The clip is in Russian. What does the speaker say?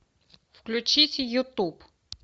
включите ютуб